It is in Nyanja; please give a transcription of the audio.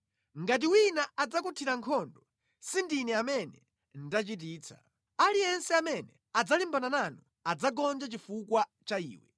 Ngati wina adzakuthirani nkhondo, si ndine amene ndachititsa; aliyense amene adzalimbana nanu adzagonja chifukwa cha iwe.